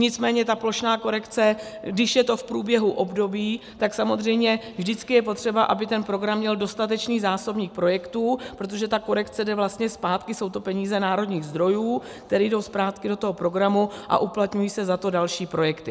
Nicméně ta plošná korekce, když je to v průběhu období, tak samozřejmě vždycky je potřeba, aby ten program měl dostatečný zásobník projektů, protože ta korekce jde vlastně zpátky, jsou to peníze národních zdrojů, které jdou zpátky do toho programu, a uplatňují se za to další projekty.